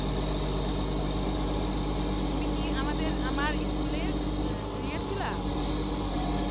তুমি কি আমাদের আমার school এ junior ছিলা